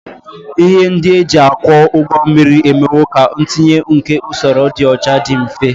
Ihe ndị e ji akwọ ụgbọ mmiri emewo ka ntinye nke usoro ịdị ọcha dị mfe